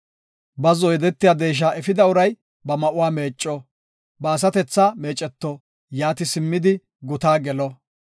Bazzo yedetiya deesha efida uray ba ma7uwa meecco; ba asatethaa meeceto; yaati simmidi guta gelo.